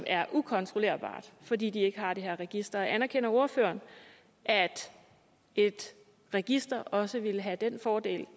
er ukontrollerbart fordi de ikke har det her register anerkender ordføreren at et register også ville have den fordel